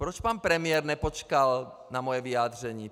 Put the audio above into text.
Proč pan premiér nepočkal na moje vyjádření?